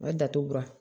A ye datugulan